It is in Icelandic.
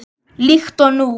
Líkt og nú.